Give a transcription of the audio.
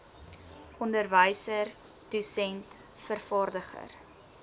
onderwyser dosent vervaardiger